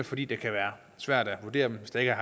fordi det kan være svært at vurdere dem hvis der